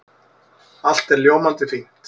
Allt er ljómandi fínt.